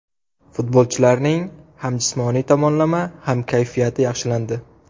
Futbolchilarning ham jismoniy tomonlama, ham kayfiyati yaxshilandi.